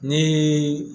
Ni